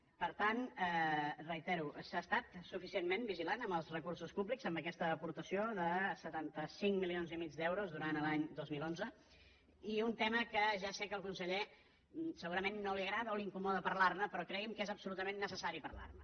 per tant reitero s’ha estat suficientment vigilant amb els recursos públics amb aquesta aportació de setanta cinc milions i mig d’euros durant l’any dos mil onze i un tema que ja sé que al conseller segurament no li agrada o l’incomoda parlar ne però cregui’m que és absolutament necessari parlar ne